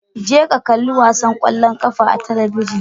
Je ka ka kalli wasan ƙwallon ƙafar a talabijin.